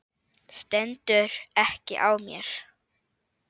Stendur ekki á mér.